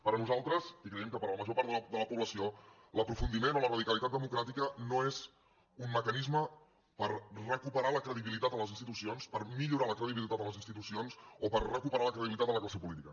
per nosaltres i creiem que per a la major part de la població l’aprofundiment o la radicalitat democràtica no és un mecanisme per recuperar la credibilitat en les institucions per millorar la credibilitat en les institucions o per recuperar la credibilitat en la classe política